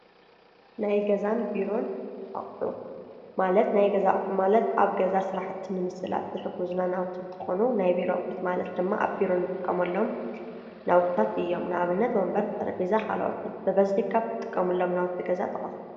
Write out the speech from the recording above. ናይ ገዛ አቁሑ ማለት ኣብ ገዛ ስራሕቲ ንምስላጥ ንጥቀመሎም ናዉቲ እንትኾኑ ናይ ቢሮ አቁሒት ድማአብ ቢሮ ንጥቀመሎም መሳርሒታት እዮም ንአብነት ከብ ትጥቀሙሎም ጥቀሱ?